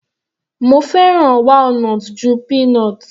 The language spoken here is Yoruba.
Mo fẹ́ràn walnut ju peanut.